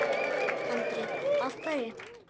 Andri: Af hverju?